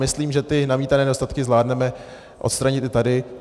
Myslím, že ty namítané nedostatky zvládneme odstranit i tady.